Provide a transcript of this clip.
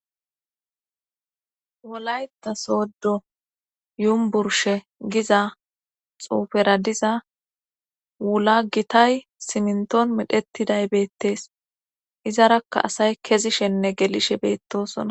Wolayta sooddo yumburshe giza xuufera diza wula gitay siminton midhettiday beettees izarakka asay kezishenne gelishe beettosona.